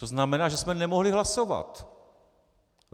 To znamená, že jsme nemohli hlasovat.